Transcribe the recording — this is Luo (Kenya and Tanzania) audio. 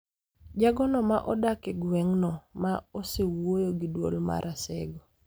Jagono ma odak e gweng'no ma osewuoyo gi Duol mar Asego